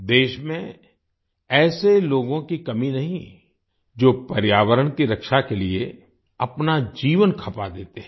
देश में ऐसे लोगों की कमी नहीं जो पर्यावरण की रक्षा के लिए अपना जीवन खपा देते हैं